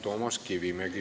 Toomas Kivimägil on küsimus.